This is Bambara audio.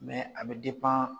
a bɛ